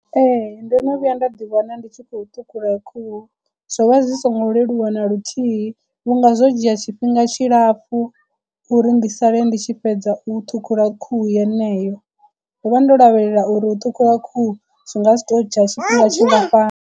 Ee ndo no vhuya nda ḓi wana ndi tshi khou ṱhukhula khuhu, zwo vha zwi songo leluwa na luthihi vhunga zwo dzhia tshifhinga tshilapfhu uri ndi sale ndi tshi fhedza u ṱhukhula khuhu yeneyo. Ndo vha ndo lavhelela uri u ṱhukhuwa khuhu zwi nga si to dzhia tshifhinga tshingafhani.